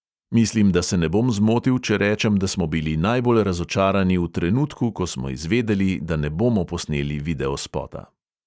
Mislim, da se ne bom zmotil, če rečem, da smo bili najbolj razočarani v trenutku, ko smo izvedeli, da ne bomo posneli videospota.